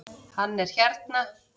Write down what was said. Hann er hérna